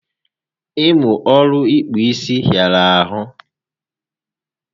Ịmụ ọrụ ịkpụ isi hịara ahụ